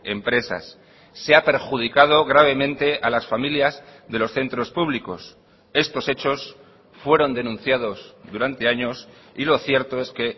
empresas se ha perjudicado gravemente a las familias de los centros públicos estos hechos fueron denunciados durante años y lo cierto es que